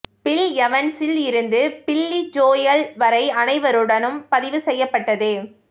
bill எவன்ஸில் இருந்து Billy Joel வரை அனைவருடனும் பதிவு செய்யப்பட்டது